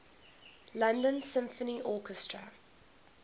london symphony orchestra